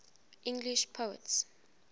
english poets